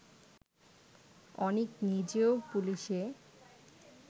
অনিক নিজেও পুলিশে